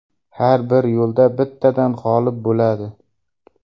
Har bir yo‘lda bittadan g‘olib bo‘ladi.